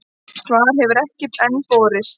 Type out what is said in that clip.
Svar hefur enn ekki borist.